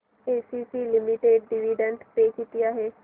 ACC limited dividend pay किती आहे